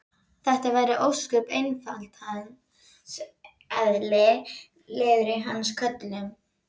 Þetta væri ósköp einfaldlega hans eðli, liður í hans köllun.